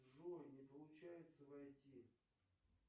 джой не получается войти